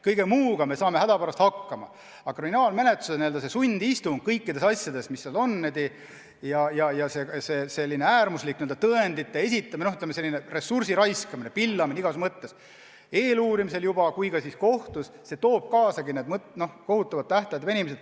Kõige muuga saame hädapärast hakkama, aga kriminaalmenetluse n-ö sundistung kõikides asjades, selline äärmuslik tõendite esitamine, selline ressursi raiskamine, pillamine igas mõttes, nii eeluurimisel juba kui ka kohtus – see toobki kaasa kohutava tähtaegade venimise.